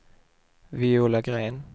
Viola Gren